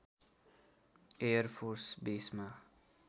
air force बेसमा